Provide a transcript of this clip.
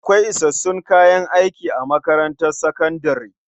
Akwai isassun kayan aiki a makarantar sakandare?